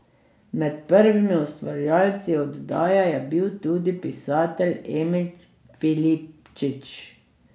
Med prvimi ustvarjalci oddaje je bil tudi pisatelj Emil Filipčič.